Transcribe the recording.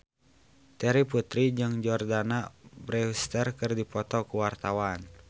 Terry Putri jeung Jordana Brewster keur dipoto ku wartawan